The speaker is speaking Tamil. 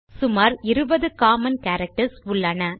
சுமார் 20 காமன் கேரக்டர்ஸ் உள்ளன